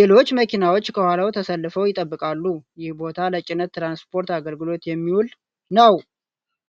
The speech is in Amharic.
ሌሎች መኪናዎች ከኋላው ተሰልፈው ይጠብቃሉ። ይህ ቦታ ለጭነት ትራንስፖርት አገልግሎት የሚውል ነው።